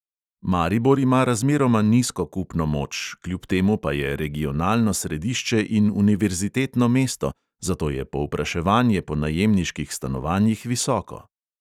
Maribor ima razmeroma nizko kupno moč, kljub temu pa je regionalno središče in univerzitetno mesto, zato je povpraševanje po najemniških stanovanjih visoko.